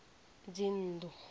dzinnḓu